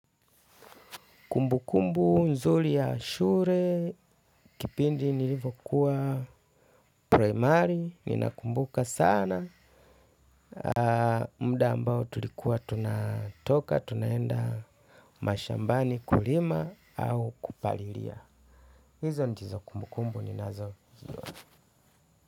Kumbu kumbu nzuli ya shure kipindi nilivyo kuwa primari, ninakumbuka sana. Muda ambao tulikuwa tunatoka, tunaenda mashambani kulima au kupalilia. Hizo ndizo kumbukumbu ninazozijua.